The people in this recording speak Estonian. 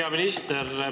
Hea minister!